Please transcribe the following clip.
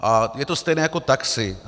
A je to stejné jako taxi.